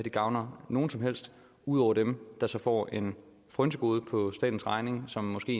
gavner nogen som helst ud over dem som får en frynsegode på statens regning og som måske